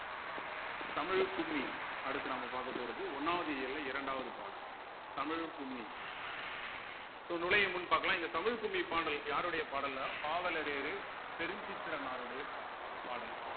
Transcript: தமிழ் கும்மி அடுத்து நாம பார்க்கப் போறது ஒண்ணாவது இயல இரண்டாவது பாடல் தமிழ் கும்மி so நுழையும் முன் பார்க்கலாம் இந்த தமிழ் கும்மி பாடல் யாருடைய பாடல்ன்னா பாவலரேறு பெரும் சித்திரனாருடைய பாட பாடல்